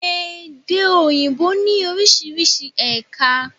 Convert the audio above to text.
Èdè òyìnbó ní orísirísi ẹ̀ka